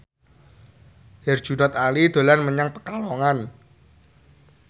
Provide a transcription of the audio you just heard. Herjunot Ali dolan menyang Pekalongan